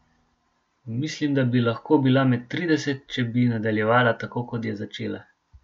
Mislim, da bi lahko bila med trideset, če bi nadaljevala tako kot je začela.